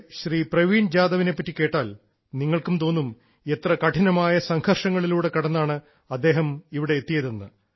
നമ്മുടെ ശ്രീ പ്രവീൺ ജാധവിനെ പറ്റി കേട്ടാൽ നിങ്ങൾക്കും തോന്നും എത്ര കഠിനമായ സംഘർഷങ്ങളിലൂടെ കടന്നാണ് അദ്ദേഹം ഇവിടെ എത്തിയതെന്ന്